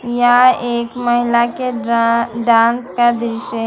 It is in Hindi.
यह एक महिला के डा डांस का दृश्य।